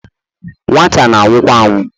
nwata anwụ kwa anwụọ